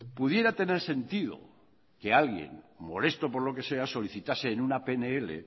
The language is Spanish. pudiera tener sentido que alguien molesto por lo que sea solicitase en una pnl